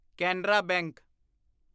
Canara bank